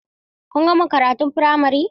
Kun gama karatun firamare?